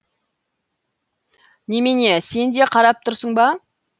немене сен де қарап тұрсың ба